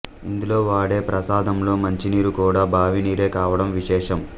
ఇందులో వాడే ప్రసాదంలో మంచినీరు కూడా బావినీరే కావడం విశేషం